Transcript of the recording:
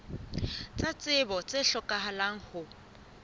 tsa tsebo tse hlokahalang ho